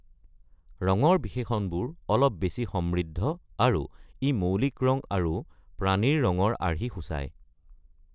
ৰঙৰ বিশেষণবোৰ অলপ বেছি সমৃদ্ধ আৰু ই মৌলিক ৰং আৰু প্ৰাণীৰ ৰঙৰ আৰ্হি সূচায়।